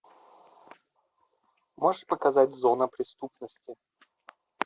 можешь показать зона преступности